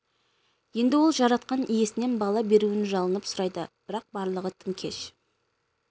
енді ол жаратқан иесінен бала беруін жалынып сұрайды бірақ барлығы тым кеш